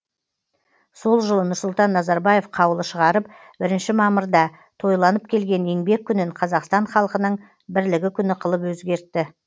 сол жылы нұрсұлтан назарбаев қаулы шығарып бірніші мамырда тойланып келген еңбек күнін қазақстан халқының бірлігі күні қылып өзгертті